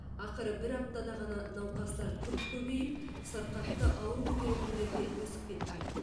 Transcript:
ақыры бір аптада ғана науқастар күрт көбейіп сырқатты ауыр көтеретіндер де өсіп кетті